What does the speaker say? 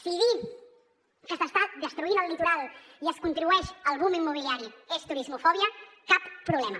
si dir que s’està destruint el litoral i es contribueix al boom immobiliari és turismofòbia cap problema